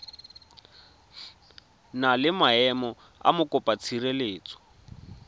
na le maemo a mokopatshireletso